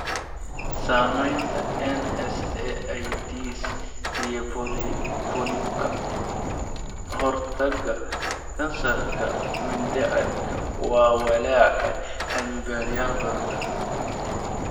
Samaynta NSAIDs iyo Polyp Ka-hortagga kansarka mindhicirka waa walaac cilmi-baarayaal badan.